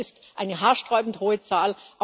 Das ist eine haarsträubend hohe Zahl.